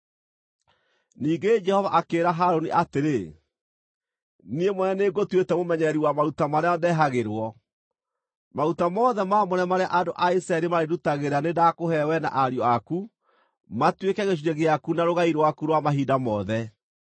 Ningĩ Jehova akĩĩra Harũni atĩrĩ, “Niĩ mwene nĩngũtuĩte mũmenyereri wa maruta marĩa ndehagĩrwo; maruta mothe maamũre marĩa andũ a Isiraeli marĩndutagĩra nĩ ndakũhe wee na ariũ aku matuĩke gĩcunjĩ gĩaku na rũgai rwaku rwa mahinda mothe.